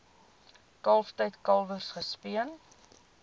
kalftyd kalwers gespeen